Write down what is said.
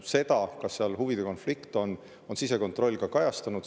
Seda, kas seal huvide konflikt on, on sisekontroll ka kajastanud.